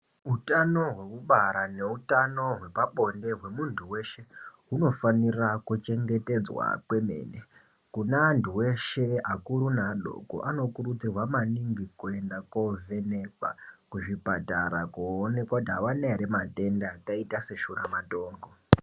Utano hwekubara neutano hwepabonde hwemuntu weshe hunofanira kuchengetedzwa kwemene kune antu eshe akuru neadoko anokurudzirwa maningi kuenda kovhenekwa kuzvipatara koonekwa kuti avana ere matenda akaita seshuramatongo.